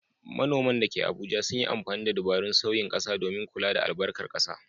Manoman da ke Abuja sun yi amfani da dabarun sauyin ƙasa domin kula da albarkar ƙasa.